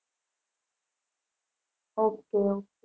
okay